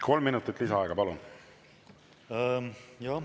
Kolm minutit lisaaega, palun!